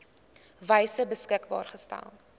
wyse beskikbaar gestel